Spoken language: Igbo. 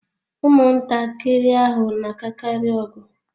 Ụmụntakịrị ahụ na-akakarị ọgụ